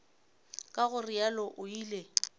ka go realo o ile